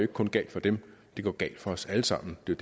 kun galt for dem det går galt for os alle sammen det er